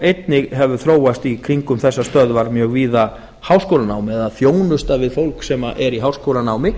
einnig hefur ljóst í kringum þessar stöðvar mjög víða háskólanám eða þjónusta við fólk sem er í háskólanámi